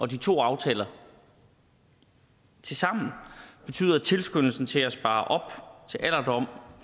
de to aftaler tilsammen betyder at tilskyndelsen til at spare op til alderdommen